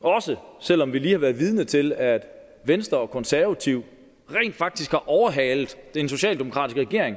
også selv om vi lige har været vidne til at venstre og konservative rent faktisk har overhalet den socialdemokratiske regering